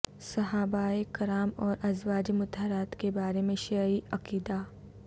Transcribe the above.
صحابہ کرام اور ازواج مطہرات کے بارے میں شیعی عقیدہ